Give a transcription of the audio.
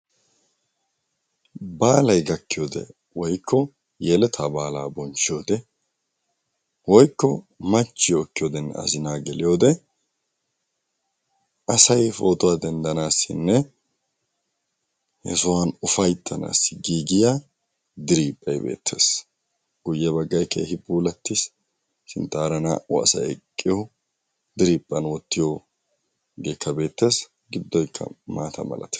Baalay gakkiyode woykko yeletaa baalaa bonchchiyode woykko machchiyo ekkiyodenne azinaa geliyode asay pootuwa denddanaassinne he sohuwan ufayttanaassi giigiya diriiphphay beettees. Guyye baggay keehi puulattiis sinttaara naa"u asay eqqiyo diriphphan wottiyogeekka beettees giddoykka maata malatees.